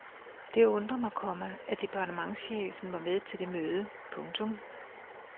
Det undrer mig, komma at departementschefen var med til det møde. punktum